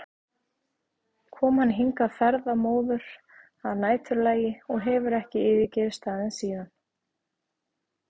kom hann hingað ferðamóður að næturlagi og hefur ekki yfirgefið staðinn síðan.